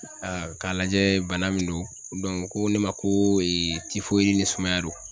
k'a lajɛ bana min don ko ne ma ko ni sumaya don.